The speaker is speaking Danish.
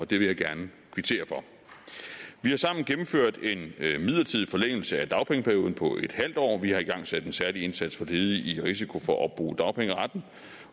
det vil jeg gerne kvittere for vi har sammen gennemført en midlertidig forlængelse af dagpengeperioden på en halv år vi har igangsat en særlig indsats for ledige i risiko for at opbruge dagpengeretten